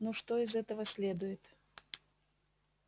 ну что из этого следует